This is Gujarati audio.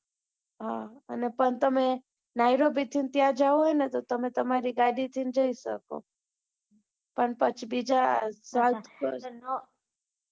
હા અને પણ તમે ત્યાં જ્યાં હોય ને તો તમે તમ્મારી ગાડી માં જઈ શકો પણ પછી બીજા